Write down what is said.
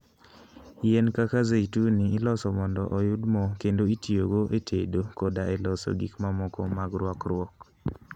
Yien kaka zeituni iloso mondo oyud mo kendo itiyogo e tedo koda e loso gik mamoko mag rwakruok.